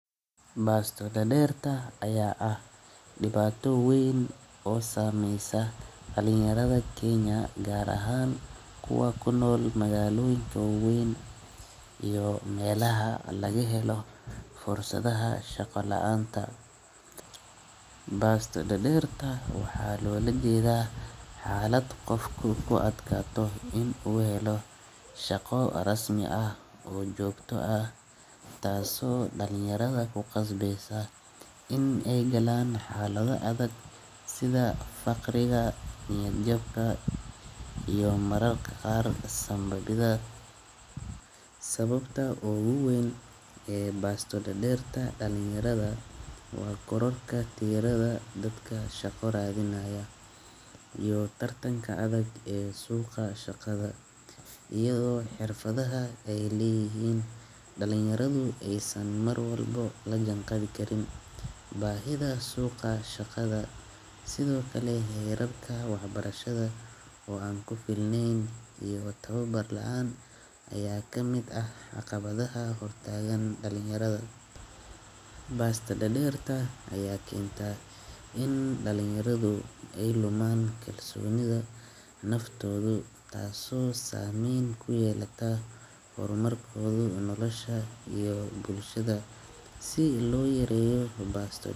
Baasta dhadhirta ayaa ah dhibaatow weyn oo saamaysa dhalinyarada Kenya, gaar ahaan kuwa kuna magaalooyin ku weyn iyo meelaha laga helo fursadaha shaqo la'aanta. Baas ta dhadhirta waxaa lola jeedaa xaalad qofku ku adkaato inuu u helo shaqo rasmi ah oo joogto ah, taaso dhalinyarada ku qasbayso inay gelaan xaalado adag sida faqriga, niyad jabka iyo mararka qaar sambo-gida. Sababta ugu weyn ee baasto dhadhirta dhalinyarada waa kororka tiirada dadka shaqo raadinaya iyo tartanka adag ee suuqa shakada. Iyadoo xirfadaha ay leeyihiin, dhalinyaradu ay sanmar walbo la janqabi karin baahida suuqa shakada, sidoo kale heerabka waxbarashada oo aan ku filnayn iyo tababar la'aan ayaa ka mid ah caqabadaha hurtaagan dhalinyarada. Baasta dhadhirta ayaa keenta in dhalinyaradu ay lumaan kalsooni naftoodu, taaso saameyn ku yeelata furmo koodu nolosha iyo bulshada si loo yareeyo baasta.